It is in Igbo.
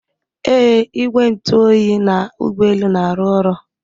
Ee igwe ntụ oyi na ụgbọ elu na-arụ ọrụ